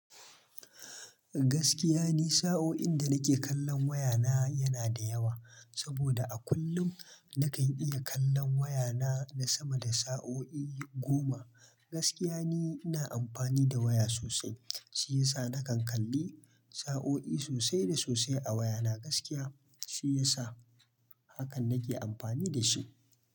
Gaskiya ne sa'oin da nake kallon wayana yana da yawa, saboda a kullum nakan iya kallon wayana na sama da sa'o'i goma. Gaskiya ne ina amfani da waya sosai, shi yasa nakan kalli sa'o'i sosai da sosai a wayana gaskiya shi yasa hakan nake amfani da shi.